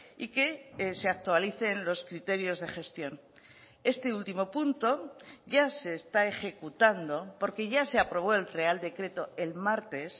y que se actualicen los criterios de gestión este último punto ya se está ejecutando porque ya se aprobó el real decreto el martes